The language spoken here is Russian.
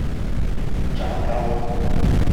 джалгаон